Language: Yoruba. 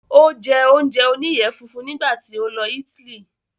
Ó jẹ́ oúnjẹ oníyẹ funfun nígbà tí ó lọ Italy